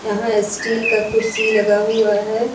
यहां स्टील का कुर्सी लगा हुआ है।